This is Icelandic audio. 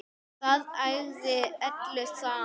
Það ægði öllu saman.